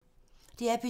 DR P2